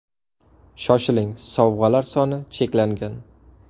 Shoshiling, sovg‘alar soni cheklangan!